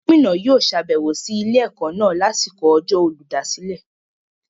Gómìnà yóò sàbẹ̀wò sí ilé-ẹ̀kọ́ náà lásìkò ọjọ́ Olùdásílẹ̀.